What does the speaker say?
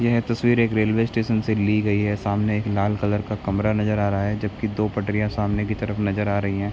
यह तस्वीर एक रेलवे स्टेशन से ली गई है सामने एक लाल कलर का कमरा नजर आ रहा है जबकि दो पटरिया सामने की तरफ नजर आ रही है।